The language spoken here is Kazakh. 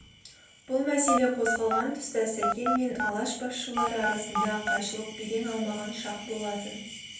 бұл мәселе қозғалған тұста сәкен мен алаш басшылары арасындағы қайшылық белең алмаған шақ болатын